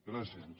gràcies